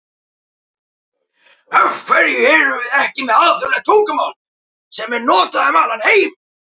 AF HVERJU ERUM VIÐ EKKI MEÐ ALÞJÓÐLEGT TUNGUMÁL SEM ER NOTAÐ UM ALLAN HEIM???